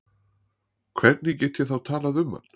Hvernig get ég þá talað um hann?